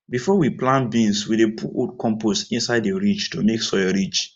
before we plant beans we dey put old compost inside the ridge to make soil rich